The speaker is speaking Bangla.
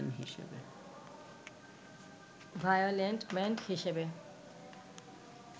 ভায়োলেন্ট ম্যান হিসেবে